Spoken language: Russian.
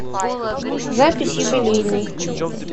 запись юбилейный